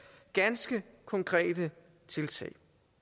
ganske konkrete tiltag